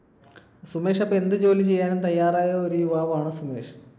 സുമേഷ് അപ്പൊ എന്ത് ജോലി ചെയ്യാനും തയ്യാറായ ഒരു യുവാവാണ് സുമേഷ്